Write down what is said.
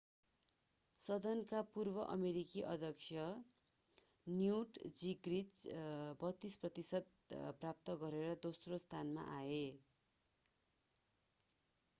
सदनका पूर्व अमेरिकी अध्यक्ष न्युट जिङ्ग्रिच 32 प्रतिशत प्राप्त गरेर दोस्रो स्थानमा आए